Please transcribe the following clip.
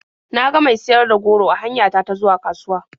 Na ga mai siyar da goro a hanya ta ta zuwa kasuwa.